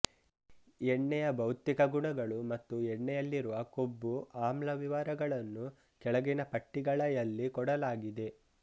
ಎಣ್ಣೆಯ ಭೌತಿಕ ಗುಣಗಳು ಮತ್ತು ಎಣ್ಣೆಯಲ್ಲಿರುವ ಕೊಬ್ಬು ಆಮ್ಲ ವಿವರಗಳನ್ನು ಕೆಳಗಿನ ಪಟ್ಟಿಗಳಯಲ್ಲಿ ಕೊಡಲಾಗಿದೆ